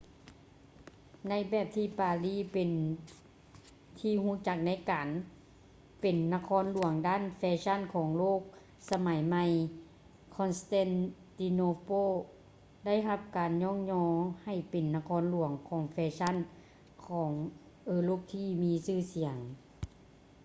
ໃນແບບທີ່ປາຣີເປັນທີ່ຮູ້ຈັກໃນການເປັນນະຄອນຫຼວງດ້ານແຟຊັ່ນຂອງໂລກສະໄໝໃໝ່ constantinople ໄດ້ຮັບການຍ້ອງຍໍໃຫ້ເປັນນະຄອນຫຼວງຂອງແຟຊັ່ນຂອງເອີຣົບທີ່ມີຊື່ສຽງ